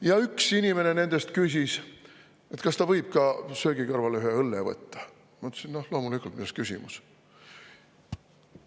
Ja kui üks inimene küsis, kas ta võib söögi kõrvale ka ühe õlle võtta, siis mina: "Loomulikult, milles küsimus.